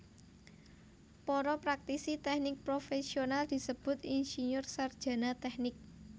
Para praktisi tèknik profèsional disebut insinyur sarjana tèknik